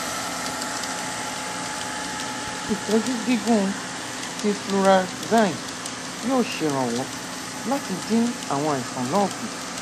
ìtọjú gígùn ti flunarizine yóò ṣèrànwọ láti dín àwọn àìsàn náà kù